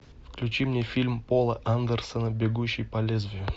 включи мне фильм пола андерсона бегущий по лезвию